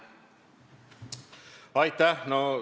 Aitäh!